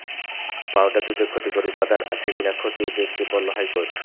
powder দুধে ক্ষতিকর উপাদান আছে কিনা খতিয়ে দেখতে বলল হাইকোর্ট